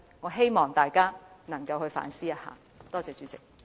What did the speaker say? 我希望大家反思一下，多謝代理主席。